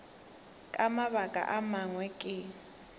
ka mabaka a mangwe ke